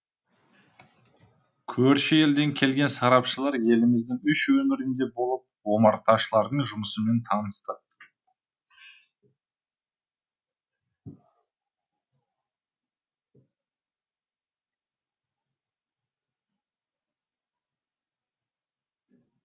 көрші елден келген сарапшылар еліміздің үш өңірінде болып омарташылардың жұмысымен танысты